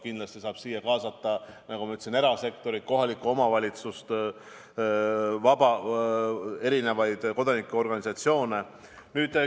Kindlasti saab siia kaasata, nagu ma ütlesin, ka erasektorit ja kohalike omavalitsuste kodanikuorganisatsioone.